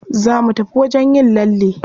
Za mu tafi wajen yin lalle.